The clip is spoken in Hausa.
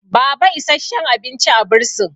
baba isasshen abinci a bursin